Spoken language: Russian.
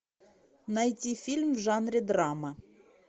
найти фильм в жанре драма